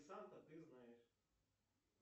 санта ты знаешь